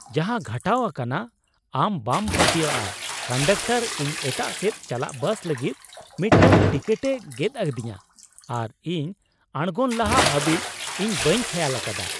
ᱡᱟᱦᱟᱸ ᱜᱷᱚᱴᱟᱣ ᱟᱠᱟᱱᱟ ᱟᱢ ᱵᱟᱢ ᱯᱟᱹᱛᱭᱟᱹᱜᱼᱟ ! ᱠᱚᱱᱰᱟᱠᱴᱚᱨ ᱤᱧ ᱮᱴᱟᱜ ᱥᱮᱫ ᱪᱟᱞᱟᱜ ᱵᱟᱥ ᱞᱟᱹᱜᱤᱫ ᱢᱤᱫᱴᱟᱝ ᱴᱤᱠᱤᱴᱮᱭ ᱜᱮᱫ ᱟᱹᱫᱤᱧᱟ, ᱟᱨ ᱤᱧ ᱟᱲᱜᱳᱱ ᱞᱟᱦᱟ ᱦᱟᱹᱵᱤᱡ ᱤᱧ ᱵᱟᱹᱧ ᱠᱷᱮᱭᱟᱞ ᱟᱠᱟᱫᱟ !